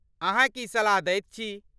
अहाँ की सलाह दैत छी?